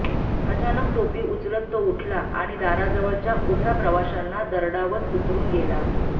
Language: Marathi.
अचानक टोपी उचलत तो उठला आणि दाराजवळच्या उभ्या प्रवाशांना दरडावत उतरुन गेला